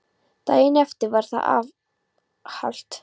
Daginn eftir var það var afhalt.